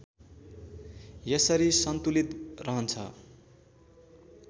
यसरी सन्तुलित रहन्छ